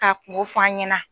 Ka kungo fɔ' an ɲɛna.